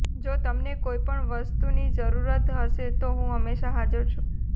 જો તમને કોઈ પણ વસ્તુની જરૂરત હશે તો હું હંમેશા હાજર છું